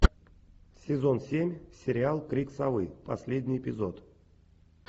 сезон семь сериал крик совы последний эпизод